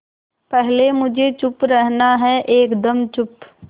पहले मुझे चुप रहना है एकदम चुप